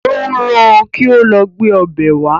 Ó rán-an kí ó lọ gbé ọbẹ̀ wá